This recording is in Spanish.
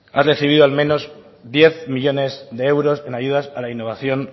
han recibido al menos diez millónes de euros en ayudas al a innovación